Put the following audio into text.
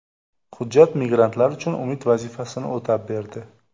Hujjat migrantlar uchun umid vazifasini o‘tab berdi.